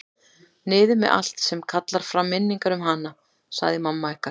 Niður með allt sem kallar fram minningar um hana, sagði mamma ykkar.